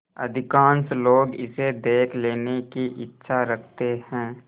अधिकांश लोग इसे देख लेने की इच्छा रखते हैं